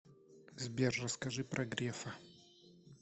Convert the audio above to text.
сбер расскажи про грефа